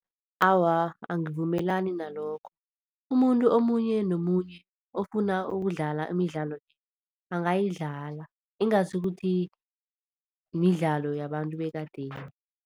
Awa, angivumelani nalokho. Umuntu omunye nomunye ofuna ukudlala imidlalo le, angayidlala ingasi ukuthi midlalo yabantu bekadeni.